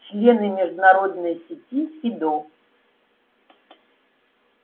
члены международной сети фидо